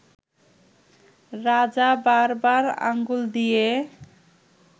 রাজা বারবার আঙ্গুল দিয়ে